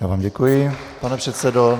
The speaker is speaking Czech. Já vám děkuji, pane předsedo.